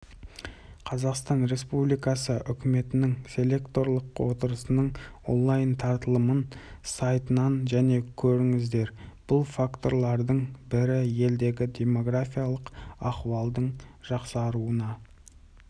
қазақстан республикасы үкіметінің селекторлық отырысының онлайн-таратылымын сайтынан және көріңіздер бұл факторлардың бәрі елдегі демографиялық ахуалдың жақсаруына